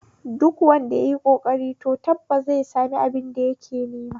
Duk wanda yayi ƙoƙari to tabbas zai sami abin da yake nema